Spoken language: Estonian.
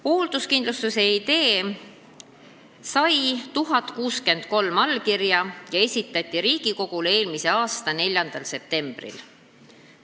Hoolduskindlustuse idee sai 1063 allkirja ja esitati Riigikogule eelmise aasta 4. septembril.